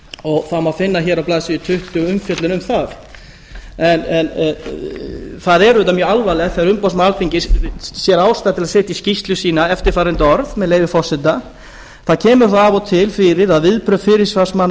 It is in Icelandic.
og það má finna hér á blaðsíðu tuttugu umfjöllun um það það er auðvitað mjög alvarlegt þegar umboðsmaður alþingis sér ástæðu til að setja í skýrslu sína eftirfarandi orð með leyfi forseta það kemur þó af og til fyrir að viðbrögð fyrirsvarsmanna